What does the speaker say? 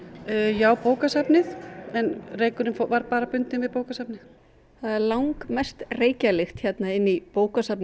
já bókasafnið reykurinn var bara bundinn við bókasafnið það er langmest reykjarlykt hérna í bókasafni